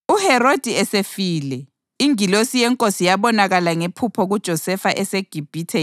UHerodi esefile, ingilosi yeNkosi yabonakala ngephupho kuJosefa eseGibhithe